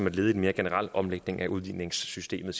et led i en mere generel omlægning af udligningssystemet